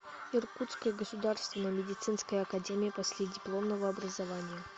иркутская государственная медицинская академия последипломного образования